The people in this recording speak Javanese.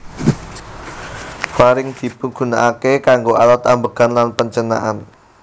Faring dipigunaaké kanggo alat ambegan lan pancernaan